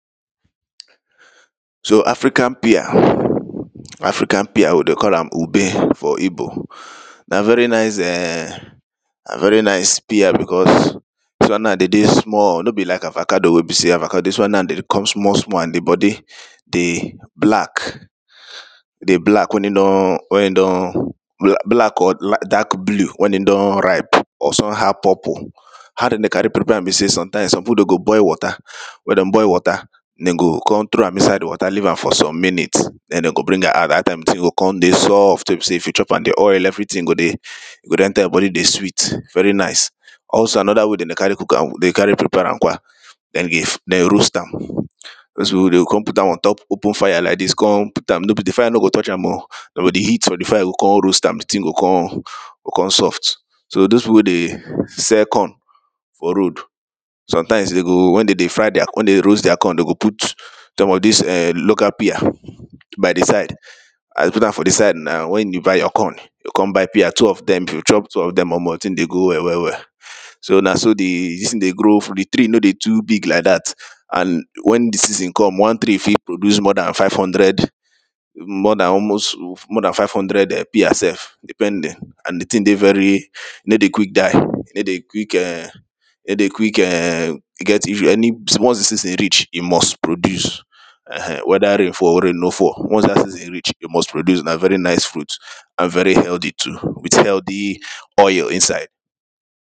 So African pear, African pear we dey call am obe for ibo, na very nice um, na very nice pear because dis one na de dey small, no be like avocado wey be sey, avocado, dis one na dem dey come small small, and di body dey black, e dey black wen in don, wen in don bla, black or dark blue wen in don ripe or somehow purple. How dem dey carry prepare am be sey sometimes some pipu de go boil water, wen de boil water, dem go con throw am inside di water leave am for some minute, den dem go bring am out, dat time di thing go don dey soft, wey be sey if you chop am, di oil everything go dey, e go dey enter your body dey sweet, very nice. Also another way den dey carry cook am kwa, den dey carry prepare am kwa, na if dem roast am. Dose pipo wey de o con put am on top open fire like dis, con put am, di fire no go touch am o, de go di heat from di fire go con roast am di thing go con, go con soft. So dose pipo wey dey sell corn for road, sometimes de go wen de dey fry deir, wen de dey roast deir corn de go put some of dis err local pear by di side, as de put am by di side now, wen you buy your corn yoh con buy pear, two of dem, if you chop two of dem, omo di thing dey go well, well well. So na so di dis thing dey grow, di tree no dey too big like dat and wen di seasen come, one tree fit produce more dan five hundred, more dan almost, more dan five hundred pear sef depending, and di thing dey very, no dey quick die, no dey quick um, no dey quick um get any, once di season reach e must produce um, wether rain fall or rain no fall, once dat season reach e must produce, na very nice fruit and very healthy too, with healthy oil inside.